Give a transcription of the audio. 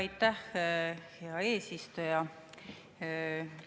Aitäh, hea eesistuja!